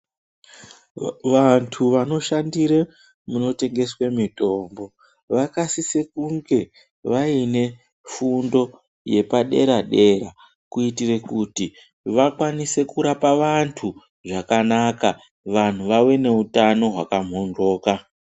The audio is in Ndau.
Vandu vanoshandire munotengeswe mitombo vakasise kunge vaine fundo yepadera dera kuyitire kuti vakwanise kurapa vandu zvakanaka, vandu vave nowutano hwakamhondloka.